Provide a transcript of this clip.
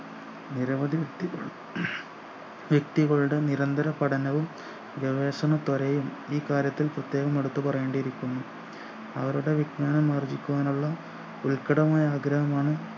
നിരവധി ഇട്ടി ജെട്ടികളുടെ നിരന്തര പഠനവും ഗവേഷണത്വരയും ഈ കാര്യത്തിൽ പ്രത്യേകം എടുത്തു പറയേണ്ടിരിക്കുന്നു അവരുടെ വിജ്ഞാനം ആർജിക്കുവാനുള്ള ഉൽക്കഠമായ ആഗ്രഹമാണ്